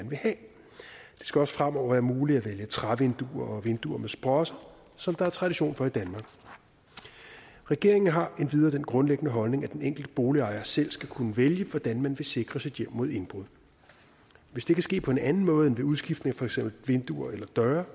skal også fremover være muligt at vælge trævinduer og vinduer med sprosser som der er tradition for i danmark regeringen har endvidere den grundlæggende holdning at den enkelte boligejer selv skal kunne vælge hvordan man vil sikre sit hjem mod indbrud hvis det kan ske på en anden måde end ved udskiftning af for eksempel vinduer eller døre